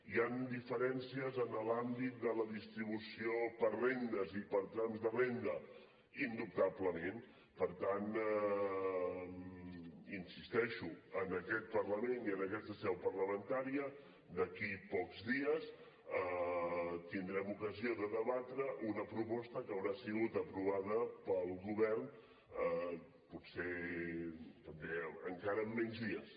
hi han diferències en l’àmbit de la distribució per rendes i per trams de renda indubtablement per tant hi insisteixo en aquest parlament i en aquesta seu parlamentària d’aquí a pocs dies tindrem ocasió de debatre una proposta que haurà sigut aprovada pel govern potser també encara en menys dies